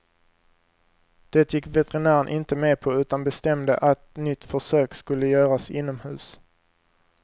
Det gick veterinären inte med på utan bestämde att nytt försök skulle göras inomhus.